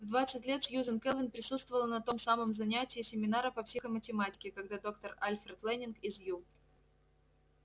в двадцать лет сьюзен кэлвин присутствовала на том самом занятии семинара по психоматематике когда доктор альфред лэннинг из ю